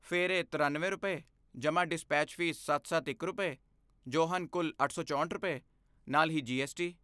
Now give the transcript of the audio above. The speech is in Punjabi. ਫਿਰ ਇਹ ਤਰਿਆਨਵੇਂ ਰੁਪਏ, ਜਮਾਂ ਡਿਸਪੇਚ ਫੀਸ ਸੱਤ ਸੱਤ ਇਕ ਰੁਪਏ, ਜੋ ਹਨ ਕੁੱਲ ਅੱਠ ਸੌ ਚੌਂਹਠ ਰੁਪਏ, ਨਾਲ ਹੀ ਜੀ ਐੱਸ ਟੀ